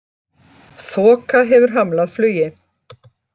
Þoka hefur hamlað flugi